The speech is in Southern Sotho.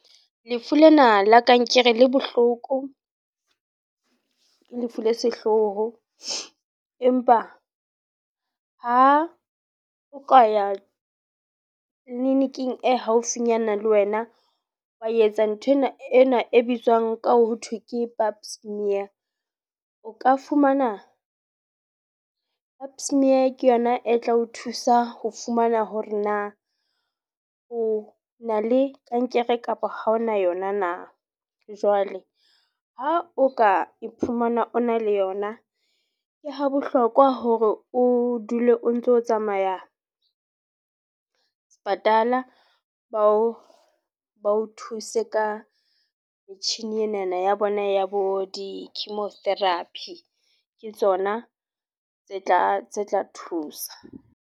Lefu lena la kankere le bohloko, ke lefu le sehloho. Empa ha o ka ya clinic-ing e haufinyana le wena. Wa etsa nthwena ena e bitswang ka ho thwe ke pap smear. O ka fumana pap smear ke yona e tla o thusa ho fumana hore na o o na le kankere kapa ha o na yona na. Jwale ha o ka iphumana o na le yona, ke ha bohlokwa hore o dule o ntso tsamaya sepatala bao bao thuse ka metjhini enana ya bona ya bo di-chimo therapy. Ke tsona tse tla tse tla thusa.